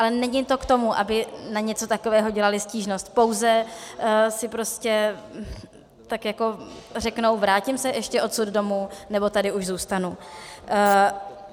Ale není to k tomu, aby na něco takového dělali stížnost, pouze si prostě tak jako řeknou - vrátím se ještě odsud domů, nebo tady už zůstanu?